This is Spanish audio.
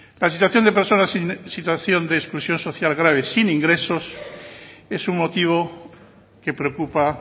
la situación de personas en situación de exclusión social grave sin ingresos es un motivo que preocupa